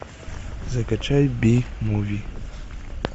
закачай би муви